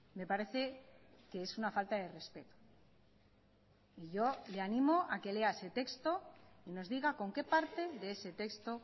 me parece que es una falta de respeto y yo le animo a que lea ese texto y nos diga con qué parte de ese texto